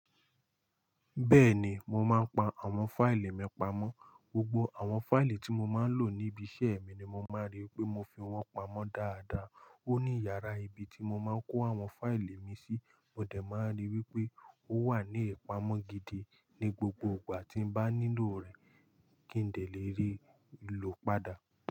Bẹ́ẹ̀ni, mo máa ń pa àwọn file mi pamọ́. Gbogbo àwọn file tí mo máa ń lò níbi iṣẹ́ mi ni mo máa rí pé mo fi wọ́n pamọ́ dáadáa. Ó ní iyàrá ibi tí mo máa ń kó àwọn file mi sí, mo dẹ̀ máa rí wípé ó wà ní ìpamọ́ gidi ní gbogbo ìgbà tí ń bá nílò rẹ̀ kí ń dẹ le rí i lò padà.